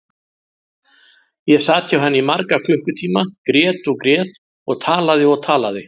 Ég sat hjá henni í marga klukkutíma, grét og grét og talaði og talaði.